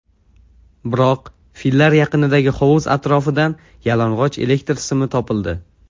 Biroq, fillar yaqinidagi hovuz atrofidan yalang‘och elektr simi topildi.